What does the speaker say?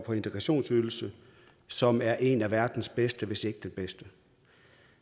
og integrationsydelse som er en af verdens bedste hvis ikke den bedste